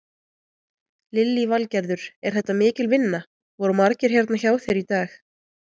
Lillý Valgerður: Er þetta mikil vinna, voru margir hérna hjá þér í dag?